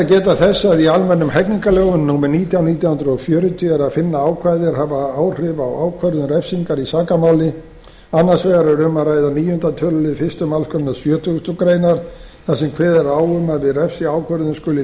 geta þess að í almennum hegningarlögum númer nítján nítján hundruð fjörutíu er að finna ákvæði er hafa áhrif á ákvörðun refsingar í sakamáli annars vegar er um að ræða níundi tölulið fyrstu málsgrein sjötugustu greinar þar sem kveðið er á um að við refsiákvörðun skuli